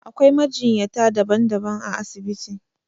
Akwai majinyata daban daban a asibiti